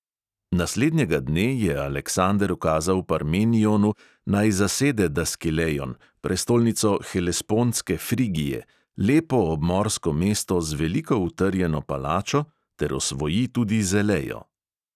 Naslednjega dne je aleksander ukazal parmenionu, naj zasede daskilejon, prestolnico helespontske frigije, lepo obmorsko mesto z veliko utrjeno palačo, ter osvoji tudi zelejo.